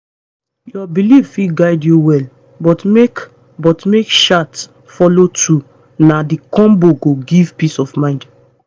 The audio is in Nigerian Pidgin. your belief fit guide you well but make but make chart follow too na the combo go give peace of mind